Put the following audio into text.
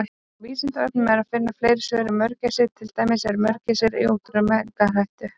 Á Vísindavefnum er að finna fleiri svör um mörgæsir, til dæmis: Eru mörgæsir í útrýmingarhættu?